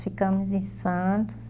Ficamos em Santos.